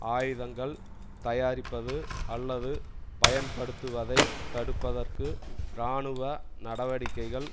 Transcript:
ஆயுதங்கள் தயாரிப்பது அல்லது பயன்படுத்துவதை தடுப்பதற்கு இராணுவ நடவடிக்கைகள்